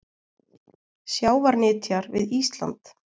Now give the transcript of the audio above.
Sjávarnytjar við Ísland.